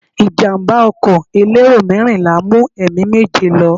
Ìjàmbá ọkọ̀ elérò mẹ́rìnlá mú ẹ̀mí méje lọ.